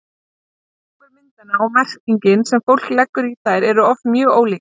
tilgangur myndanna og merkingin sem fólk leggur í þær eru oft mjög ólík